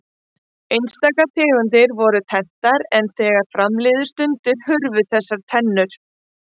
Einstaka tegundir voru tenntar en þegar fram liðu stundir hurfu þessar tennur.